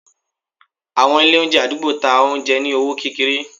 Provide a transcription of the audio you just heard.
àwọn ilé oúnjẹ adugbo, ta oúnjẹ ní ọwọ kékeré.